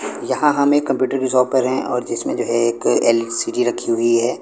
यहां हमें कंप्यूटर की शॉप पर हैं और जिसमें एक एल_सी_डी रखी हुई है।